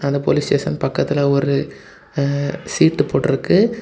இந்த police station பக்கத்துல ஒரு சீட்டு போட்டுருக்கு.